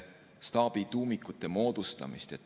… staabi tuumikute moodustamist.